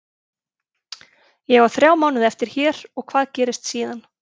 Ég á þrjá mánuði eftir hér og hvað gerist síðan?